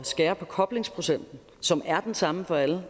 skære i koblingsprocenten som er den samme for alle